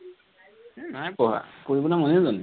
এৰ নাই পঢ়া, পঢ়িবলে মনেই যোৱা নাই